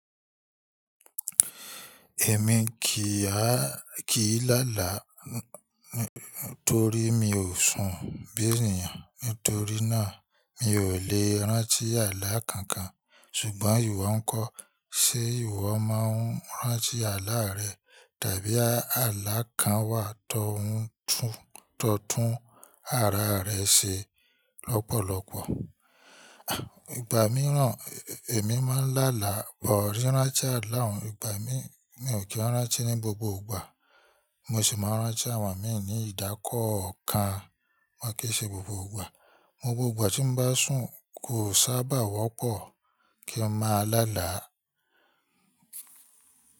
Èmi kì á, kìí láàlá torí mi ò sùn bí ènìyàn. Nítorí náà mi ò lè rántí àlá kankan. Ṣùgbọ́n ìwọ ń kọ, ṣé ìwọ máa ń rántí àlá rẹ? Tàbí àlá kan wà tó ń tún, tó tún ara rẹ ṣe lọ́pọ̀lọpọ̀? Ìgbà mìíràn èmi máa ń láàlá bọ̀ rí rántí àlá òun. Ìgbà mi, mi ò kí rántí ní gbogbo ìgbà. Mo sì máa ń rántí àwọn míì ní ìdákọ ọ̀kan. Ma kí ṣe gbogbo ìgbà. Gbogbo ìgbà tí n bá sùn kò sábà wọ́pọ̀ kí n máa láàlá.